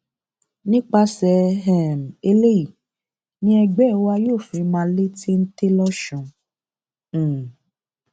nípasẹ um eléyìí ni ẹgbẹ wa yóò fi máa lé téńté lọsùn um